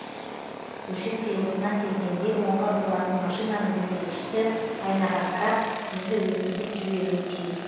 көше қиылысына келгенде оңға бұрылатын машинаның жүргізушісі айнаға қарап бізді өткізіп жіберуі тиіс